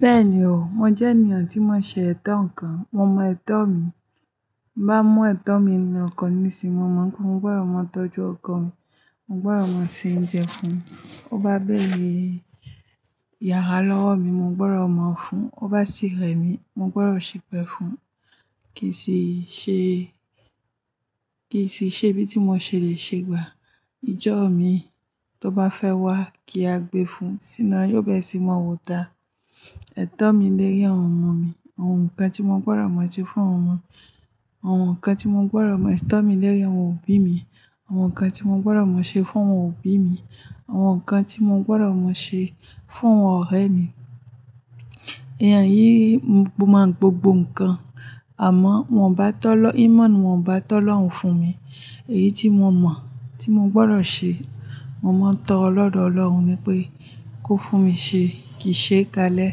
Bẹ́ẹ̀ni o, mo jẹ́ ènìyàn tí i mo n ṣe ẹ̀tọ́ nǹkan, mo mon ẹ̀tọ́ mi. Bá mú ẹ̀tọ́ mi ni ọ́ko mi n sín, mo mọ̀ pé mo gbọdọ̀ máa tọ́jú ọkọ mi, mo gbọdọ̀ máa se oúnjẹ fún un. To bá béèrè yàrá lọ́wọ́ mi, mo gbọdọ̀ máa fún un. To bá ti rẹ̀ mí, mo gbọdọ̀ ṣipẹ́ fún un. Kì í sì ṣe, kì í sì ṣe bí tí mo ṣe le ṣe gbà. Ìjọ mi tó bá fẹ́ wá kí a gbé fún un, síná yóò bẹ́ẹ̀ sì mọ òòtá. Ẹ̀tọ́ mi lórí àwọn ọmọ mi, àwọn nǹkan tí mo gbọdọ̀ máa ṣe fún àwọn ọmọ, àwọn nǹkan tí mo gbọdọ̀ mọ, ẹ̀tọ́ mi lórí àwọn òbí mi, àwọn nǹkan tí mo gbọdọ̀ máa ṣe fún àwọn òbí mi, àwọn nǹkan tí mo gbọdọ̀ máa ṣe fún àwọn ọ̀rẹ́ mi. Ẹ̀yán yìí mọ̀ gbogbo nǹkan. Àmọ́, wọ́n bá tó lọ-- Íman wọ́n bá tó lọ́hùn fún mi. Èyí tí mo mọ̀ tí mo gbọdọ̀ ṣe, mo máa ń tọrọ lọ́dọ̀ Ọlọ́run wípé kó fún mi ṣe kì í ṣe kalẹ́,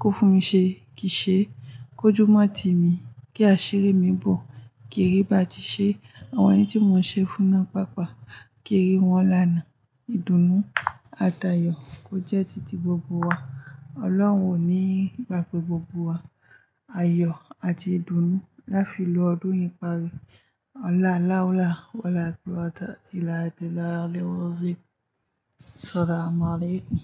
kó fún mi ṣe kì í ṣe, kó jùmọ̀ tí mi kí àṣírí mi bọ̀. Kì í rí bá ti ṣe. Àwọn ẹni tí mo ń ṣe fún náà pàápàá kì í rí wọn lánàá. Ìdùnnú àti ayọ̀ kò jẹ́ tìtì gbogbo wa. Ọlọ́run ò ní gbàgbe gbogbo wa áyọ àti ìdùnnú. Láfiì lo odún yi parí. Ọlá, láú lá, ọlá kuwata ilà bií là á lé o roo simi Ṣalaamu aleekun.